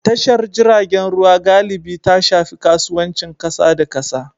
Tashar jiragen ruwa galibi ta shafi kasuwancin kasa da kasa.